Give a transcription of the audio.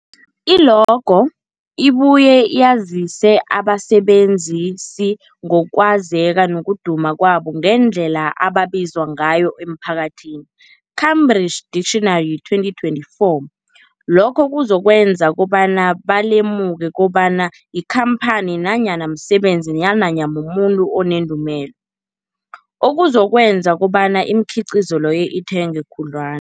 I-logo ibuye yazise abasebenzisi ngokwazeka nokuduma kwabo nangendlela abaziwa ngayo emphakathini, Cambridge Dictionary 2024. Lokho kuzokwenza kobana balemuke kobana yikhamphani nanyana umsebenzi nanyana umuntu onendumela, okuzokwenza kobana imikhiqhizo leyo ithengwe khudlwa